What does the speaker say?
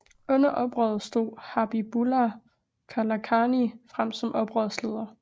Under oprøret stod Habibullah Kalakani frem som oprørsleder